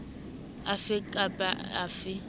a fe kap a fe